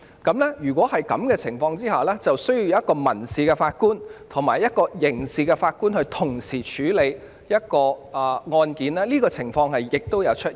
在這情況下，便需要由1名民事法官及1名刑事法官同時處理案件，而這種情況亦的確曾經出現。